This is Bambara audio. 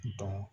dɔn